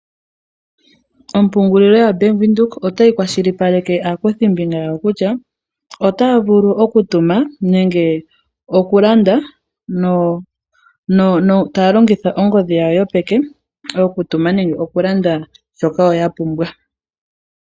Ompungulilo yaBank Windhoek otayi kwashilipaleke aakuthimbinga yawo kutya otaya vulu okutuma nenge okulanda taya longitha ongodhi yawo yopeke okutuma nenge okulanda shoka woo ya pumbwa .